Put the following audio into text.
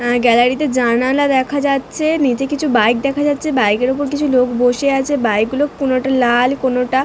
অ্যা gallery তে জানালা দেখা যাচ্ছে। নিচে কিছু বাইক দেখা যাচ্ছে। বাইক -এর উপর কিছু লোক বসে আছে। বাইক গুলো কোনোটা লাল কোনোটা--